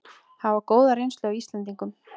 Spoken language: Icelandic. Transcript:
Hafa góða reynslu af Íslendingum